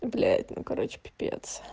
блять ну короче пипец